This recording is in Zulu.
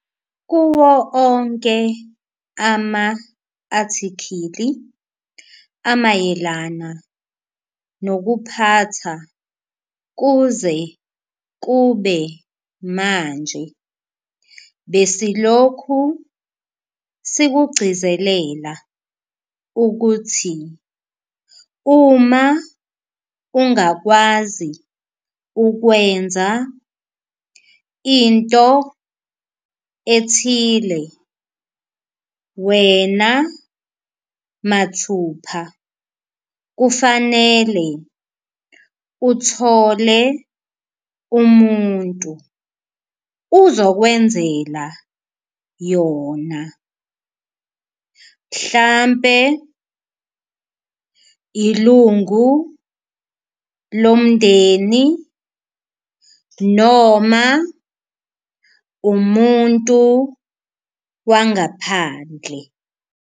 Kuwo onke ama-athikhili amayelana nokuphatha kuze kube manje besilokhu sikugcizelela ukuthi uma ungakwazi ukwenza into ethile wena mathupha kufanele uthole umuntu uzokwenzela yona, mhlampe ilungu lomndeni noma umuntu wangaphandle.